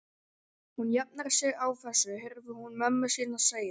Hún jafnar sig á þessu heyrði hún mömmu sína segja.